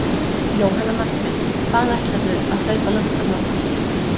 Jóhanna Margrét: Hvað ætlarðu að hlaupa langt á morgun?